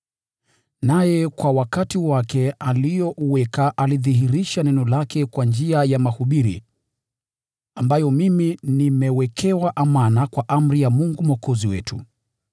naye kwa wakati wake aliouweka alilidhihirisha neno lake kwa njia ya mahubiri ambayo mimi nimewekewa amana kwa amri ya Mungu Mwokozi wetu: